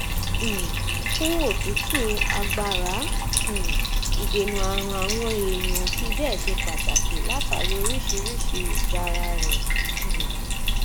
um fún òtútù agbára um ìdènà ààrùn àwọn èèyàn ò fi bẹẹ ṣe pàtàkì látàrí oríṣiríṣi ìgara rẹ um